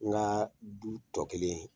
N gaa du tɔ kelen